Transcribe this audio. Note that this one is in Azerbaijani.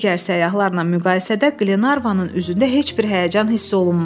Digər səyyahlarla müqayisədə Qlenarvanın üzündə heç bir həyəcan hiss olunmurdu.